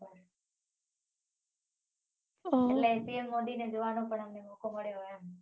એટલે P M Modi ને જોવાનો પણ અમને મોકો મળ્યો એમ